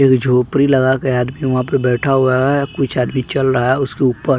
एक झोपड़ी लगा के आदमी वहां पर बैठा हुआ है कुछ आदमी चल रहा है उसके ऊपर।